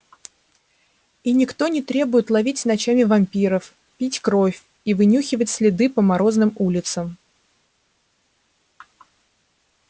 и никто не требует ловить ночами вампиров пить кровь и вынюхивать следы по морозным улицам